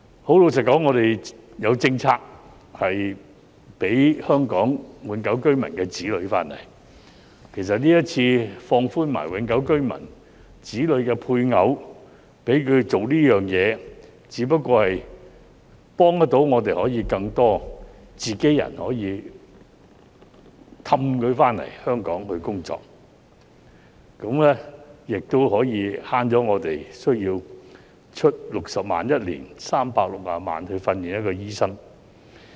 很老實說，我們已有政策讓香港永久性居民的子女回港，其實今次一併放寬永久性居民、其子女或其配偶做這件事，只不過是幫助我們遊說更多自己人回港工作，也可替我們每年節省60萬元，共360萬元來訓練一名醫生。